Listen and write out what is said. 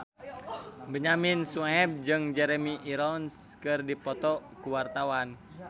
Benyamin Sueb jeung Jeremy Irons keur dipoto ku wartawan